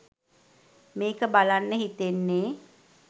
මේක බලන්න හිතෙන්නෙ